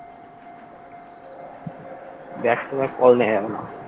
back to back call